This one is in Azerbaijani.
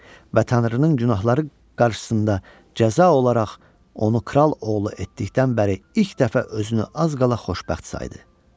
Və tanrının günahları qarşısında cəza olaraq onu kral oğlu etdikdən bəri ilk dəfə özünü az qala xoşbəxt saydı.